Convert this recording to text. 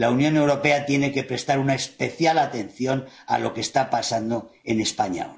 La Unión Europea tiene que prestar una especial atención a lo que está pasando en España.